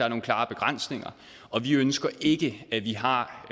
er nogle klare begrænsninger vi ønsker ikke at vi har